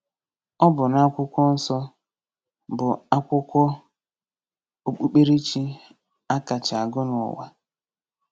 Ọ bụ na Akwụkwọ Nsọ, bụ akwụkwọ okpukperechi a kacha agụ n’ụwa.